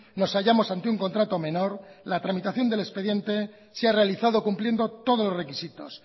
nos hayamos ante un contrato menor la tramitación del expediente se ha realizado cumpliendo todos los requisitos